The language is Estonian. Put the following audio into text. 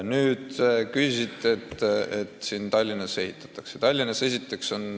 Ta küsisite ka, miks siin Tallinnas ehitatakse uus haigla.